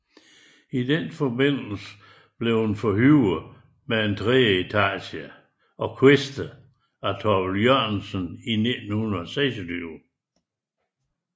I den forbindelse blev den forhøjet med en tredje etage og kviste af Thorvald Jørgensen i 1926